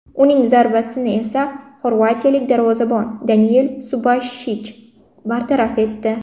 Uning zarbasini esa xorvatiyalik darvozabon Daniel Subashich bartaraf etdi.